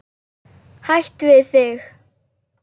Hætt við þig.